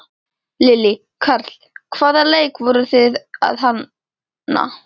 Lillý: Karl, hvaða leik voruð þið að hanna?